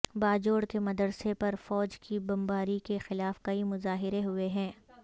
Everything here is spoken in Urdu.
باجوڑ کے مدرسے پر فوج کی بمباری کے خلاف کئی مظاہرے ہوئے ہیں